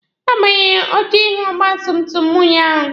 A gbanwere oche ihu ọgba tum tum mụ ụnyaahụ.